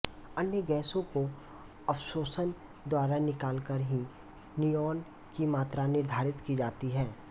अन्य गैसों को अवशोषण द्वारा निकालकर ही निऑन की मात्रा निर्धारित की जाती है